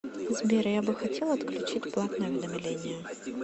сбер я бы хотел отключить платное уведомление